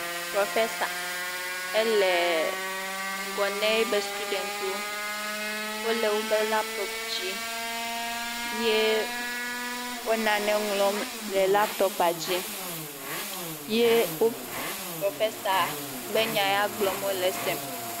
Prɔfɛsa, eleee ŋgɔ na eƒe stuɖɛŋtiwo. Wole woƒe lapitɔpidzi. Yee wo nane wɔm le lapitɔpia dzi. Ye o, Prɔfɛsa be nya ya gblɔm wole sem.